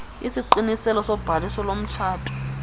isiqiniselo sobhaliso lomtshato